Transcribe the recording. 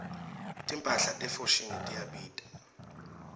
timphahla te foschini tiyabita